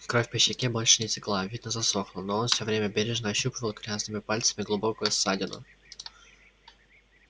кровь по щеке больше не текла видно засохла но он все время бережно ощупывал грязными пальцами глубокую ссадину